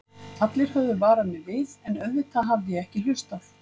Allir höfðu varað mig við, en auðvitað hafði ég ekki hlustað.